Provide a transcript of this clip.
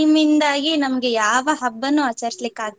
ಇಂದಾಗಿ ನಮ್ಗೆ ಯಾವ ಹಬ್ಬನು ಆಚರಿಸ್ಲಿಕ್ ಆಗ್ಲಿಲ್ಲ.